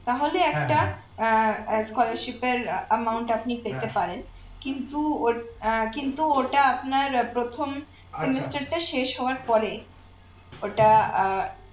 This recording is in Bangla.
তাহলে একটা আহ scholarship এর amount আপনি পেতে পারেন কিন্তু ওই আহ কিন্তু ওটা আপনার প্রথম semester টা শেষ হওয়ার পরে ওটা আহ